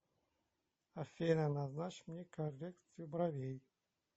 афина назначь мне коррекцию бровей